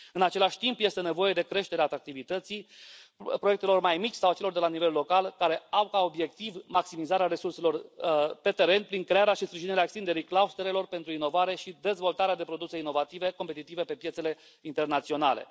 În același timp, este nevoie de creșterea atractivității proiectelor mai mici sau a celor de la nivel local, care au ca obiectiv maximizarea resurselor pe teren, prin crearea și sprijinirea extinderii clusterelor pentru inovare și dezvoltarea de produse inovative, competitive pe piețele internaționale.